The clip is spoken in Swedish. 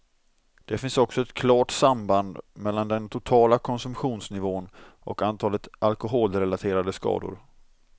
Det finns också ett klart samband mellan den totala konsumtionsnivån och antalet alkoholrelaterade skador.